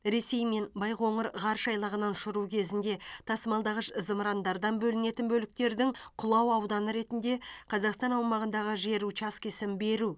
ресеймен байқоңыр ғарыш айлағынан ұшыру кезінде тасымалдағыш зымырандардан бөлінетін бөліктердің құлау ауданы ретінде қазақстан аумағындағы жер учаскесін беру